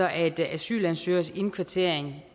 at asylansøgeres indkvartering